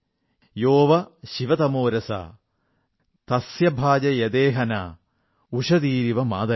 യോ വഃ ശിവതമോ രസഃ തസ്യ ഭാജയതേഹ നഃ ഉഷതീരിവ മാതരഃ